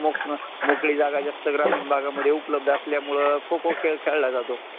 सरकारी नोकरी करण्या सारखच आहे